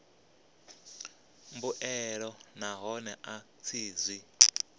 mbuelo nahone a tshi zwi